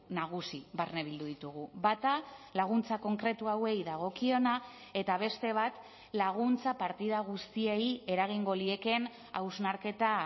nagusi barne bildu ditugu bata laguntza konkretu hauei dagokiona eta beste bat laguntza partida guztiei eragingo liekeen hausnarketa